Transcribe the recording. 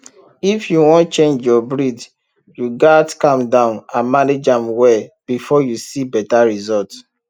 if you wan change your breed you gats calm down and manage am well before you see better result